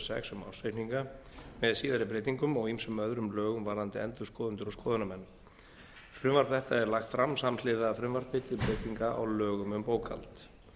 sex um ársreikninga með síðari breytingum og ýmsum öðrum lögum varðandi endurskoðendur og skoðunarmenn frumvarp þetta er lagt fram samhliða frumvarpi til breytinga á lögum um bókhald